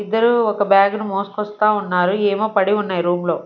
ఇద్దరూ ఒక బ్యాగును మోసుకొస్తా ఉన్నారు ఏమో పడిఉన్నాయ్ రూం లో.